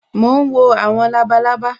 Mo ń wo àwọn labalábá